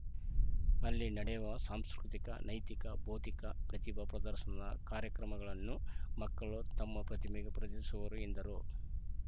ಅಲ್ಲಿ ನಡೆವ ಸಾಂಸ್ಕೃತಿಕ ನೈತಿಕ ಭೌತಿಕ ಪ್ರತಿಭಾ ಪ್ರದಶನದ ಕಾರ‍್ಯಕ್ರಮಗಳನ್ನು ಮಕ್ಕಳು ತಮ್ಮ ಪ್ರತಿಭೆ ಪ್ರದರ್ಶಿಸುವರು ಎಂದರು